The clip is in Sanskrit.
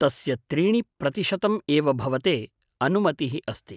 तस्य त्रीणि प्रतिशतम् एव भवते अनुमतिः अस्ति।